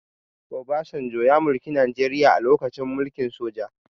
Obasanjo ya mulki najeria a lokacin mulkin soja